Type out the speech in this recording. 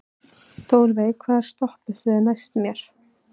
Þórveig, hvaða stoppistöð er næst mér?